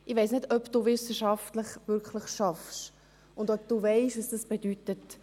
Ich weiss nicht, ob Sie wirklich wissenschaftlich arbeiten und ob Sie wissen, was das bedeutet.